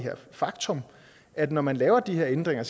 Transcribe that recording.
faktum at når man laver de her ændringer